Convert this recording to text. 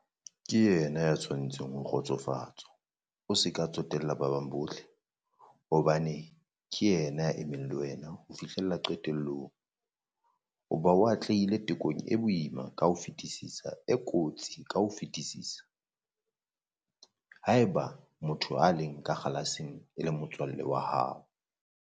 Ke yena ya tshwanetseng ho kgotsofatswa o se ke wa tsotella ba bang bohle, hobane ke yena ya emeng le wena, ho fihlella qetellong, hoba o atlehile tekong e boima ka ho fetisisa, e kotsi ka ho fetisisa. Haeba motho ya leng ka kgalaseng e le motswalle wa hao!